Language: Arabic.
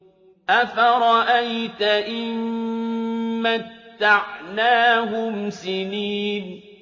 أَفَرَأَيْتَ إِن مَّتَّعْنَاهُمْ سِنِينَ